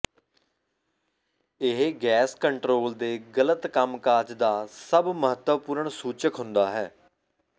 ਇਹ gas control ਦੇ ਗ਼ਲਤ ਕੰਮ ਕਾਜ ਦਾ ਸਭ ਮਹੱਤਵਪੂਰਨ ਸੂਚਕ ਹੁੰਦਾ ਹੈ